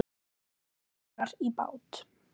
Að leggja árar í bát?